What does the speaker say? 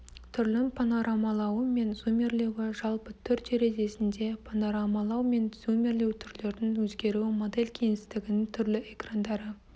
түрлің панорамалауы мен зумирлеуі жалпы түр терезесінде панорамалау мен зумирлеу түрлердің өзгеруі модель кеңістігінің түрлі экрандары